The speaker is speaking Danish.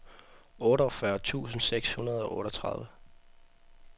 otteogfyrre tusind seks hundrede og otteogtredive